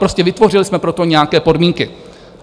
Prostě vytvořili jsme pro to nějaké podmínky.